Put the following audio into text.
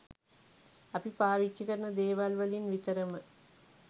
අපි පාවිච්චි කරන දේවල් වලින් විතරම